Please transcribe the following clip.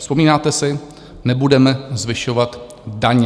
Vzpomínáte si - nebudeme zvyšovat daně.